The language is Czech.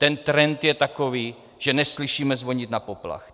Ten trend je takový, že neslyšíme zvonit na poplach.